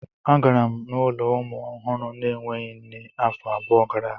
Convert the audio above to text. Agara m n'ụlọ ụmụ ọhụrụ na-enweghị nne afọ abụọ gara aga.